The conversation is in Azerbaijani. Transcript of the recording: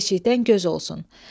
Ev eşikdən göz olsun.